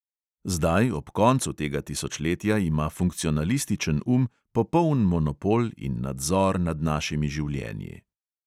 Zdaj, ob koncu tega tisočletja, ima funkcionalističen um popoln monopol in nadzor nad našimi življenji.